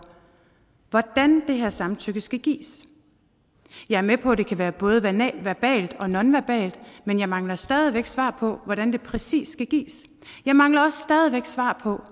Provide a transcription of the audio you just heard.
hvordan det her samtykke skal gives jeg er med på at det kan være både verbalt og nonverbalt men jeg mangler stadig væk svar på hvordan det præcis skal gives jeg mangler også stadig væk svar på